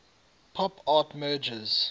pop art merges